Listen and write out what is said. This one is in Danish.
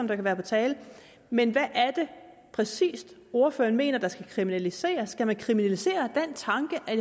der kan være på tale men hvad er det præcis ordføreren mener der skal kriminaliseres skal vi kriminalisere den tanke at